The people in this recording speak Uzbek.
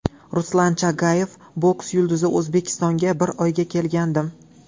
Ruslan Chagayev, boks yulduzi O‘zbekistonga bir oyga kelgandim.